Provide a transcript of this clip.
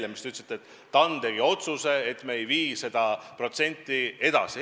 Te nimelt ütlesite, et TAN tegi otsuse, et me ei vii seda osakaaluprotsenti kõrgemale.